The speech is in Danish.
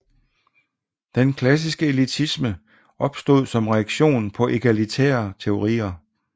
Den klassiske elitisme opstod som reaktion på egalitære teorier